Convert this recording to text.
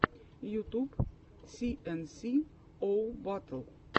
ютуб си эн си оу батл